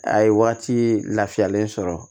A ye waati lafiyalen sɔrɔ